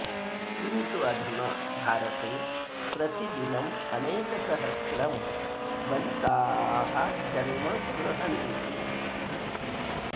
किन्तु अधुना भारते प्रतिदिनम् अनेक सहस्त्रं बलकाः जन्म गृहन्ति